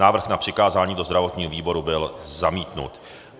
Návrh na přikázání do zdravotního výboru byl zamítnut.